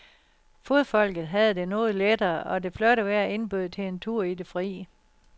Fodfolket havde det noget lettere, og det flotte vejr indbød til en tur i det fri.